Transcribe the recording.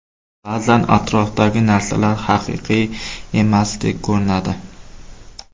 Ba’zan atrofdagi narsalar haqiqiy emasdek ko‘rinadi.